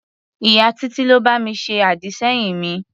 Ìyá Títí ló bá mi ṣe àdì-sẹ́yìn mi.